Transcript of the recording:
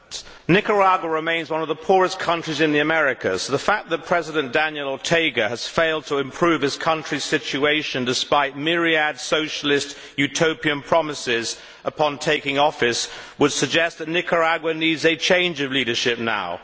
Mr President, Nicaragua remains one of the poorest countries in the Americas. The fact that President Daniel Ortega has failed to improve his country's situation, despite myriad Socialist utopian promises upon taking office, would suggest that Nicaragua needs a change of leadership now.